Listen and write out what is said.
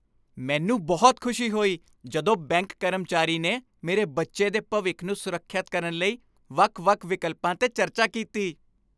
ਮੈਨੂੰ ਬਹੁਤ ਖੁਸ਼ੀ ਹੋਈ ਜਦੋਂ ਬੈਂਕ ਕਰਮਚਾਰੀ ਨੇ ਮੇਰੇ ਬੱਚੇ ਦੇ ਭਵਿੱਖ ਨੂੰ ਸੁਰੱਖਿਅਤ ਕਰਨ ਲਈ ਵੱਖ ਵੱਖ ਵਿਕਲਪਾਂ 'ਤੇ ਚਰਚਾ ਕੀਤੀ